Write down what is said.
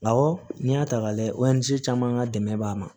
Awɔ n'i y'a ta k'a lajɛ caman ka dɛmɛ b'a ma